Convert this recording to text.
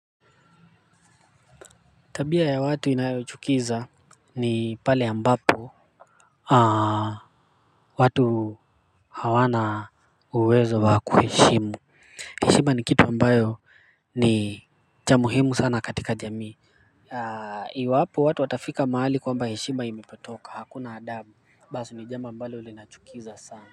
Tabia ya watu inayochukiza ni pale ambapo watu hawana uwezo wa kuheshimu heshima ni kitu ambayo ni cha muhimu sana katika jamii. Iwapo watu watafika mahali kwamba heshima imepotoka hakuna adabu basi ni jambo ambalo linachukiza sana.